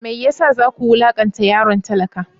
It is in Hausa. Me ya sa za ku wulakanta yaron talaka?